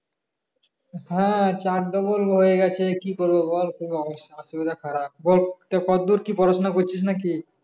হ্যাঁ চার double হয়ে গেছে কি করব বল খুবই অসুবিধা খারাপ বল কতদূর কি পড়াশোনা করছিস নাকি?